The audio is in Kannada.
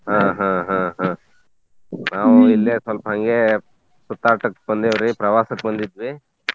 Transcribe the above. ಹಾ ಹಾ ಹಾ ಹಾ ನಾವು ಇಲ್ಲೆ ಸ್ವಲ್ಪ ಹಂಗೆ ಸುತ್ತಾಟಕ್ ಬಂದೇವ್ ರೀ ಪ್ರವಾಸಕ್ ಬಂದಿದ್ವಿ .